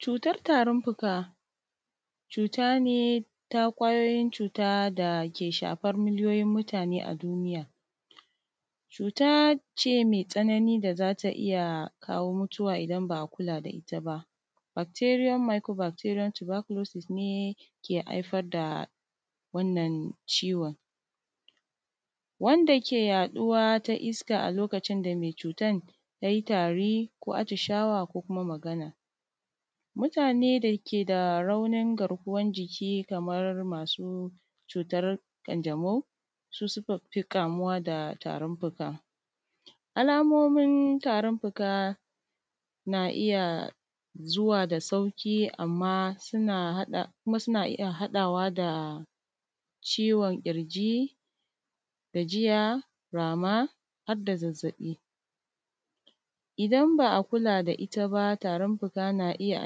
Cutar tarin fuka cutane dake shafar miliyoyin mutane a duniya, cutace mai tsanani da zata iyya kawo matsala idan ba’a kula da itta ba bakteriyon mikuro bakteriyon tubakulosis ne ke haifar da wannan ciwon. Wanda ke yaɗuwa ta iska lokacin da mai cutan yayi tari ko a tishawa ko kuma Magana. Mutane dake dake da raunin garkuwan jiki Kaman masu ƙanjmau su sukafi kamuwa da tarin fuka. Alamomin tarin fuka na iyya zuwa da sauƙi kuma suna iyya haɗawa da ciwon ƙirji, gajiya, rama harda zazzaɓi idan ba’a kula da itta ba tarin fuka na iyya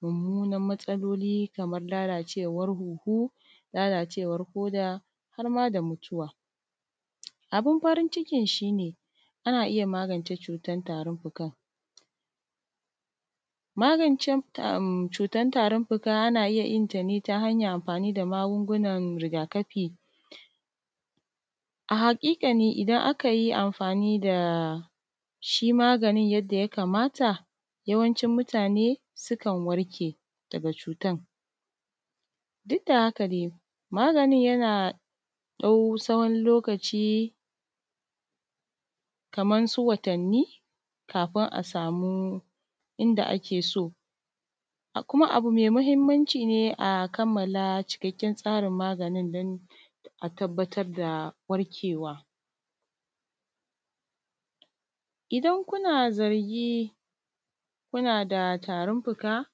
mummunar matsaloli kamar lalacewar hunhu, lalacewar koda harma da mutuwa abun farin cikin shine ana iyya magance tarin fukan. Magance tarin fuka ina iyya yinta ne ta hanyar amfani da magungunan rigakafi, a haƙikani idan akayi mafani dashi maganin yadda ya kamata wayancin mutane sukan warke daga cutan. Dukda haka dai maganin yana ɗau tsawon lokaci Kaman watanni kafun asamu inda akeso, kuma asamu inda a keso. Kuma abu mai mahimmanci ne a kammala cikakken tsarin maganin dan a tabbatar da warkewa. Idan kuna zarji kunada tarin fuka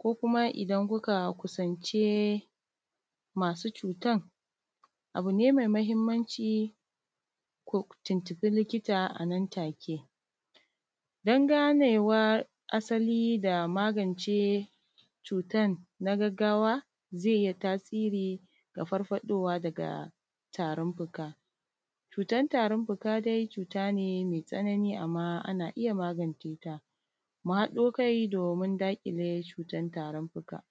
ko kuma idan kuka kusance masu cutan abune mai mahimmanci ku tuntunɓi likita anan take. Dan ganewa asali da magance cutan na gaggawa zai iyya tasiri daga farfaɗowa daga tarin fuka, cutar tarin fuka dai cutane mai matsanani amma anna iyya magance ta muhaɗakai domin magance cutar tarin fuka.